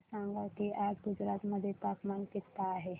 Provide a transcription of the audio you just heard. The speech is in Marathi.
मला सांगा की आज गुजरात मध्ये तापमान किता आहे